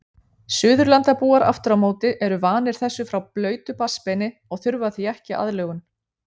Suðurlandabúar afturámóti eru vanir þessu frá blautu barnsbeini og þurfa því ekki aðlögun.